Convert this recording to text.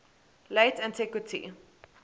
late antiquity